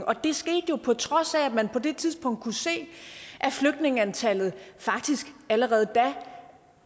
og det skete på trods af at man på det tidspunkt kunne se at flygtningeantallet faktisk allerede da